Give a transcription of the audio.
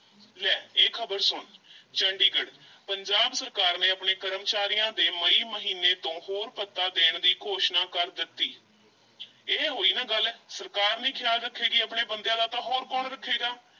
ਲੈ ਇਹ ਖ਼ਬਰ ਸੁਣ ਚੰਡੀਗੜ੍ਹ, ਪੰਜਾਬ ਸਰਕਾਰ ਨੇ ਆਪਣੇ ਕਰਮਚਾਰੀਆਂ ਦੇ ਮਈ ਮਹੀਨੇ ਤੋਂ ਹੋਰ ਭੱਤਾ ਦੇਣ ਦੀ ਘੋਸ਼ਣਾ ਕਰ ਦਿੱਤੀ ਇਹ ਹੋਈ ਨਾ ਗੱਲ ਸਰਕਾਰ ਨਹੀਂ ਖ਼ਿਆਲ ਰੱਖੇਗੀ ਆਪਣੇ ਬੰਦਿਆਂ ਦਾ ਤਾਂ ਹੋਰ ਕੌਣ ਰੱਖੇਗਾ?